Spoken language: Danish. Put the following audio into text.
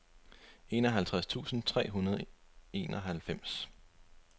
enoghalvtreds tusind tre hundrede og enoghalvfems